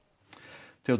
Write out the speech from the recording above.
Theodór